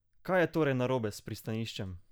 Kaj je torej narobe s pristaniščem?